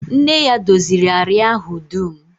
Nne ya doziri àrịá ahụ dum